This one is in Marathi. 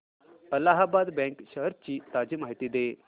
अलाहाबाद बँक शेअर्स ची ताजी माहिती दे